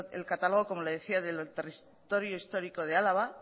el catálogo como le decía del territorio histórico de álava